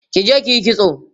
kije kiyi kitso!